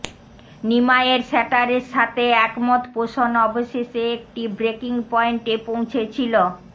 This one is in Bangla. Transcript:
নিমাইয়ের শ্যাটারের সাথে একমত পোষন অবশেষে একটি ব্রেকিং পয়েন্টে পৌঁছেছিল